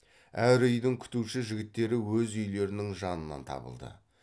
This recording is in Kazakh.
әр үйдің күтуші жігіттері өз үйлерінің жанынан табылды